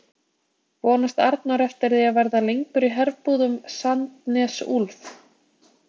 Vonast Arnór eftir því að verða lengur í herbúðum Sandnes Ulf?